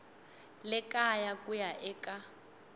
le kaya ku ya eka